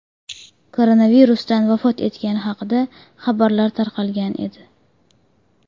koronavirusdan vafot etgani haqida xabarlar tarqalgan edi .